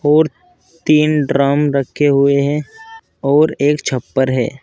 और तीन ड्रम रखे हुए हैं और एक छप्पर है।